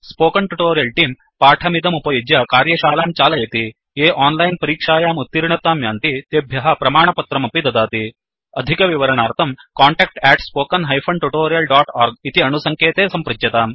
spoken tutorial तेऽं पाठमिदमुपयुज्य कार्यशालां चालयति ये ओनलाइन् परीक्षायाम् उत्तीर्णतां यान्ति तेभ्य प्रमाणपत्रमपि दीयते अधिकविवरणार्थं कान्टैक्ट् spoken tutorialorg इति अणुसङ्केते सम्पृच्यताम्